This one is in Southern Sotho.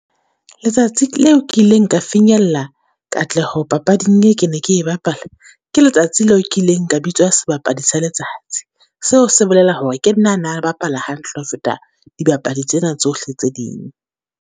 Letsatsi leo kileng nka finyella katleho papading ke ne ke e bapala, ke letsatsi leo ke ileng ka bitswa sebapadi sa letsatsi. Seo se bolela hore ke nna a na le bapala hantle ho feta dibapadi tsena tsohle tse ding.